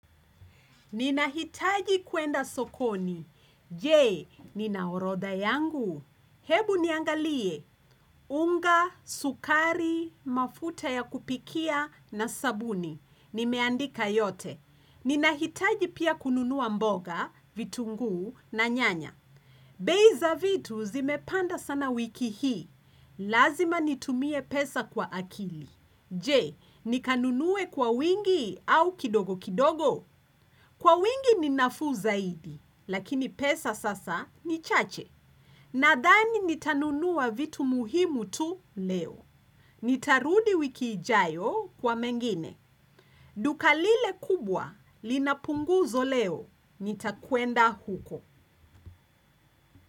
Ninahitaji kuenda sokoni. Jee, nina orodha yangu. Hebu niangalie. Unga, sukari, mafuta ya kupikia na sabuni. Nimeandika yote. Ninahitaji pia kununua mboga, vitunguu na nyanya. Bei za vitu zimepanda sana wiki hii, lazima nitumie pesa kwa akili. Je, nikanunue kwa wingi au kidogo kidogo? Kwa wingi ni nafuu zaidi, lakini pesa sasa ni chache. Nadhani nitanunua vitu muhimu tu leo. Nitarudi wiki ijayo kwa mengine. Duka lile kubwa, linapunguzo leo, nitakuenda huko.